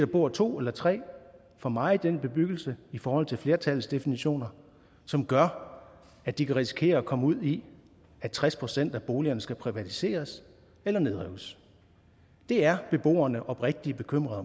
bor to eller tre for meget i den bebyggelse i forhold til flertallets definitioner som gør at de kan risikere at komme ud i at tres procent af boligerne skal privatiseres eller nedrives det er beboerne oprigtig bekymrede